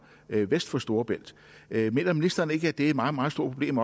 vest for storebælt mener ministeren ikke at det også er et meget meget stort problem